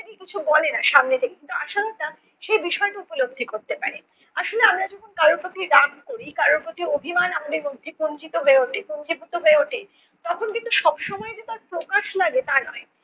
কিছু বলে না সামনে থেকে কিন্তু আশালতা সেই বিষয়টা উপলব্ধি করতে পারে। আসলে আমরা যখন কারো প্রতি রাগ করি কারো প্রতি অভিমান আমাদের মধ্যে কুঞ্চিত হয়ে উঠে, পুঞ্জীভূত হয়ে উঠে তখন কিন্তু সবসময় যে তার প্রকাশ লাগে তা নয়।